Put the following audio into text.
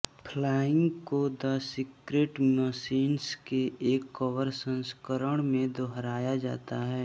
flying को the secret machines के एक कवर संस्करण में दोहराया जाता है